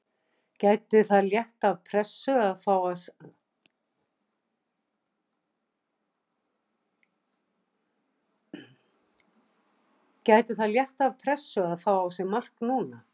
Gæti það létt af pressu að fá á sig mark núna?